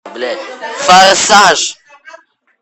форсаж